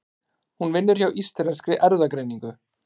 Hún vinnur hjá Íslenskri erfðagreiningu.